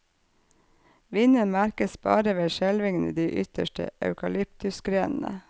Vinden merkes bare ved skjelvingen i de ytterste eukalyptusgrenene.